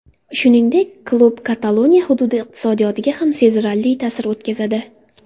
Shuningdek, klub Kataloniya hududi iqtisodiyotiga ham sezilarli ta’sir o‘tkazadi.